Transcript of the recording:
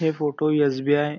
हे photo SBI. --